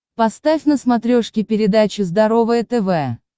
поставь на смотрешке передачу здоровое тв